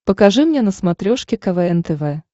покажи мне на смотрешке квн тв